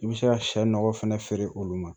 I bɛ se ka sɛ nɔgɔ fɛnɛ feere olu ma